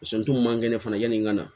n dun man kɛnɛ fana yanni n ka na